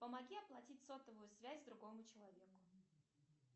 помоги оплатить сотовую связь другому человеку